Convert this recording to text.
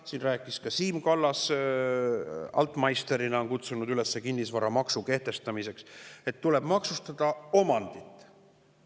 Siin rääkis ka Siim Kallas – altmeister'ina on ta kutsunud üles kehtestama kinnisvaramaksu –, et tuleb maksustada omandit.